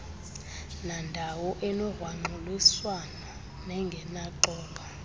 nandawo enogrwangxuliswano nengenaxolo